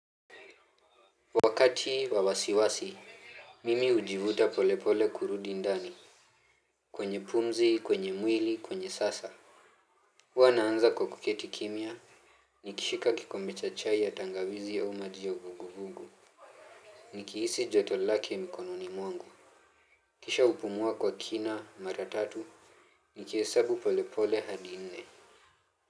Wakati wa wasiwasi, mimi hujivuta pole pole kurudi ndani. Kwenye pumzi, kwenye mwili, kwenye sasa. Huwa na anza kwa kuketi kimia. Nikishika kikombe cha chai ya tangawizi au maji ya uvuguvugu. Nikihisi joto lake ya mikononi mwangu. Kisha hupumua kwa kina mara tatu. Nikishika kikombe cha chai ya tangawizi au maji ya uvuguvugu.